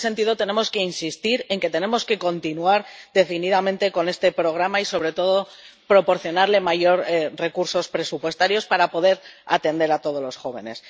Y, en este sentido, tenemos que insistir en que tenemos que continuar decididamente con este programa y, sobre todo, proporcionarle mayores recursos presupuestarios para poder atender a todos los jóvenes.